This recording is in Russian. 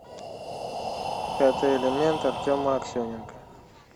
пятый элемент артема аксененко